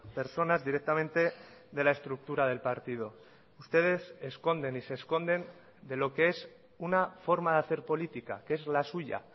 personas directamente de la estructura del partido ustedes esconden y se esconden de lo que es una forma de hacer política que es la suya